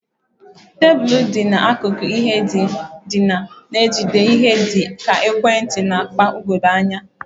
Tebụl dị n'akụkụ ihe ndina na-ejide ihe dị ka ekwentị na akpa ugogbe anya.